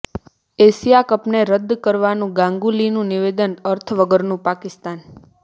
Asia કપને રદ્દ કરવાનું ગાંગુલીનું નિવેદન અર્થ વગરનુંઃ પાકિસ્તાન